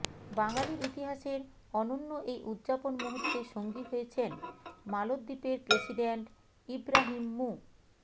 বাঙালির ইতিহাসের অনন্য এই উদযাপন মুহূর্তে সঙ্গী হয়েছেন মালদ্বীপের প্রেসিডেন্ট ইবরাহিম মু